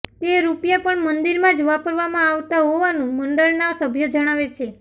તે રૂપિયા પણ મંદિરમાં જ વાપરવામાં આવતાં હોવાનું મંડળના સભ્યો જણાવે છે